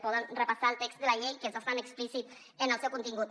poden repassar el text de la llei que és bastant explícit en el seu contingut